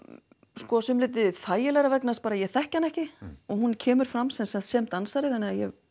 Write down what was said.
sumu leyti þægilegra vegna þess að ég þekki hana ekki og hún kemur fram sem sagt sem dansari þannig að ég